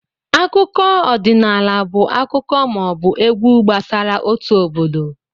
Akụkọ ọdịnaala bụ akụkọ ma ọ bụ egwu gbasara otu obodo